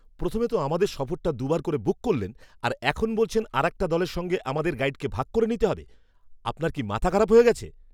প্রথমে তো আমাদের সফরটা দু'বার করে বুক করলেন, আর এখন বলছেন আরেকটা দলের সঙ্গে আমাদের গাইডকে ভাগ করে নিতে হবে। আপনার কি মাথা খারাপ হয়ে গেছে?